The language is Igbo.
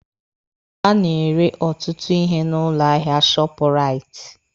A na-ere ọtụtụ ihe n'ụlọ ahịa shọọpụraiti